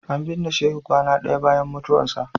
An binne Shehu kwana ɗaya bayan mutuwarsa.